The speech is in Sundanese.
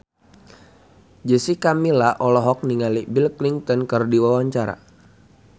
Jessica Milla olohok ningali Bill Clinton keur diwawancara